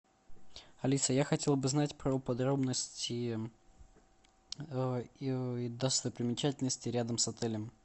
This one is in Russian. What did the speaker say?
алиса я хотел бы знать про подробности достопримечательностей рядом с отелем